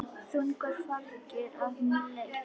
Þungu fargi af mér létt.